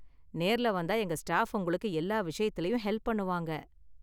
நேர்ல வந்தா எங்க ஸ்டாஃப் உங்களுக்கு எல்லா விஷயத்துலயும் ஹெல்ப் பண்ணுவாங்க.